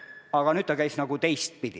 Aga nüüd see käis nagu teistpidi.